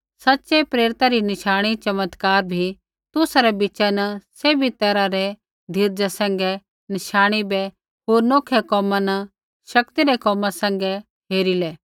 सच़ै प्रेरिता री नशाणीचमत्कार भी तुसा रै बीचा न सैभी तैरहा रै धीरजा सैंघै नशाणी बै होर नौखै कोमा न शक्ति रै कोमा सैंघै हेरिले